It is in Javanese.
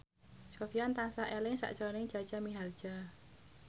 Sofyan tansah eling sakjroning Jaja Mihardja